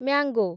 mango